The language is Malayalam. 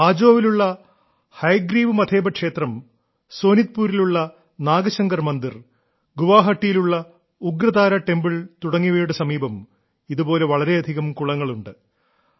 ഹജോവിലുള്ള ഹയഗ്രീവ് മധേബ ക്ഷേത്രം സോനിത്പുരിലുള്ള നാഗശങ്കർ മന്ദിർ ഗുവാഹട്ടിയിലുള്ള ഉഗ്രതാരാ ടെമ്പിൾ തുടങ്ങിയവയുടെ സമീപം ഇതുപോലെ വളരെയധികം കുളങ്ങളുണ്ട്